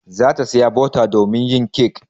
Za ta saya bota domin yin kek.